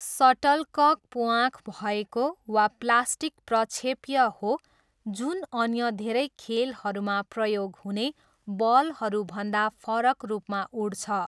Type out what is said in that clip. सटलकक प्वाँख भएको वा प्लास्टिक प्रक्षेप्य हो जुन अन्य धेरै खेलहरूमा प्रयोग हुने बलहरूभन्दा फरक रूपमा उड्छ।